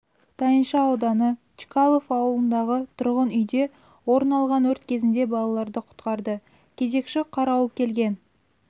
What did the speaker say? тайынша ауданы чкалов ауылындағы тұрғын үйде орын алған өрт кезінде балаларды құтқарды кезекші қарауыл келген